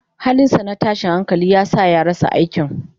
Halinsa na tashin hankali ya sa ya rasa aikin.